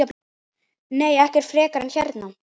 Nei, ekkert frekar en hérna.